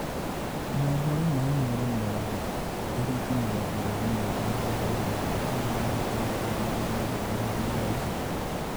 Mohoro ma Inoro mĩaraho, tarĩki mĩrongo ĩrĩ na ithano mweri wa gatano mwaka wa ngiri igĩrĩ na ikũmi na mũgwanja